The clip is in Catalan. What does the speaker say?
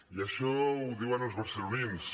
i això ho diuen els barcelonins